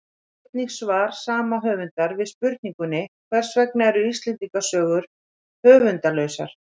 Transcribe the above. Sjá einnig svar sama höfundar við spurningunni Hvers vegna eru Íslendingasögur höfundarlausar?